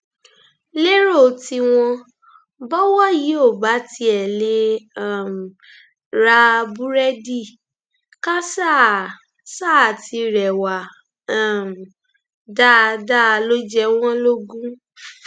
lérò tiwọn bọwọ yìí ò bá tiẹ lè um ra búrẹdì ká ṣáà ṣáà ti rẹwà um dáadáa ló jẹ wọn lógún